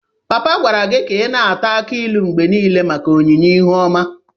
Papa gwara gi ka i na-ata akị ilu mgbe nile maka onyinye ihu oma